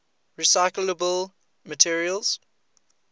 recyclable materials